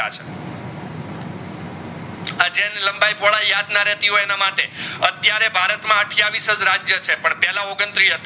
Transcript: લંબાઈ પોઢઈ યાદ ન રેતિ હોય એના માટે અત્યરેહ ભરત માં અથ્યવિસ જ રાજ્ય છે પણ પેહલા ઓગનત્રીસ